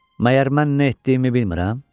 Məyər mən nə etdiyimi bilmirəm?